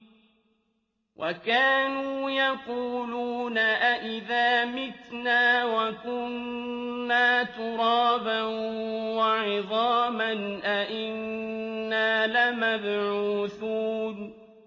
وَكَانُوا يَقُولُونَ أَئِذَا مِتْنَا وَكُنَّا تُرَابًا وَعِظَامًا أَإِنَّا لَمَبْعُوثُونَ